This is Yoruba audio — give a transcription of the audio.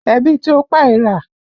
Ẹ̀bìtì ò pa era